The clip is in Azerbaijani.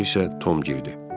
Mənim dalımca isə Tom girdi.